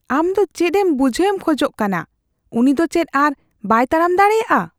ᱟᱢ ᱫᱚ ᱪᱮᱫᱮᱢ ᱵᱩᱡᱷᱦᱟᱹᱣᱮᱢ ᱠᱷᱚᱡ ᱠᱟᱱᱟ ? ᱩᱱᱤ ᱫᱚ ᱪᱮᱫ ᱟᱨ ᱵᱟᱭ ᱛᱟᱲᱟᱢ ᱫᱟᱲᱮᱭᱟᱜᱼᱟ ?